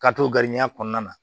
Ka t'o garidiɲɛn kɔnɔna